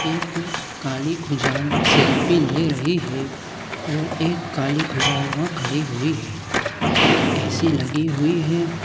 एक काली खुजाल सेल्फी ले रही है और एक काली खुजाल वहाँ खड़ी हुई है और ए.सी. लगी हुई हैं।